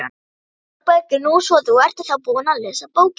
ÞÓRBERGUR: Nú, svo þú ert þá búin að lesa bókina!